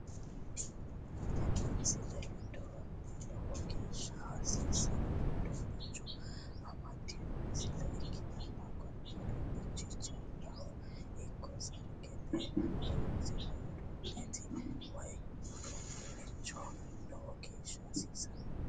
Tinni miisle weedalaho loowo geesha haasisano uudunicho ammadino miisile ekkitana kuuni uudunch jiilaho ekko sargette horonsiira uddunetti weyii uudunneho loowo geesha hassisano.